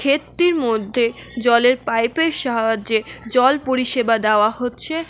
ক্ষেতটির মধ্যে জলের পাইপের সাহায্যে জল পরিসেবা দেওয়া হচ্ছে।